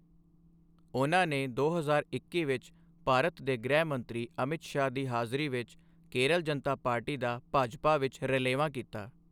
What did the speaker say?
ਉਹਨਾਂ ਨੇ ਦੋ ਹਜ਼ਾਰ ਇੱਕੀ ਵਿੱਚ ਭਾਰਤ ਦੇ ਗ੍ਰਹਿ ਮੰਤਰੀ ਅਮਿਤ ਸ਼ਾਹ ਦੀ ਹਾਜ਼ਰੀ ਵਿੱਚ ਕੇਰਲ ਜਨਤਾ ਪਾਰਟੀ ਦਾ ਭਾਜਪਾ ਵਿੱਚ ਰਲੇਵਾਂ ਕੀਤਾ।